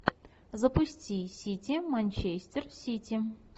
запусти сити манчестер сити